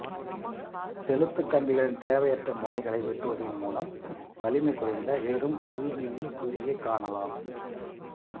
செலுத்து கம்பிகளின் தேவையற்ற முனைகளை வெட்டுவதன் மூலம் வலிமை குறைந்த பெறும் கருவியில் குறியை காணலாம்